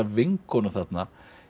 vinkonu þarna